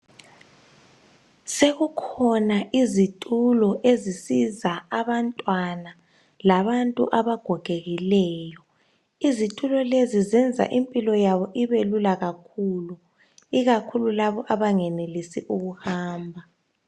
Sekukhona izitulo ezisiza abantwana labantu abagogekileyo. Izitulo lezo zenza impilo yabo ibe lula kakhulu, ikakhulu labo abengenelisi ukuhamba.